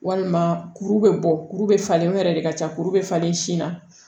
Walima kuru bɛ bɔ kuru bɛ falen o yɛrɛ de ka ca kuru bɛ falen sin na